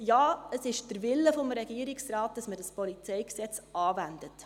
Ja, es ist der Wille des Regierungsrates, dass man dieses PolG anwendet.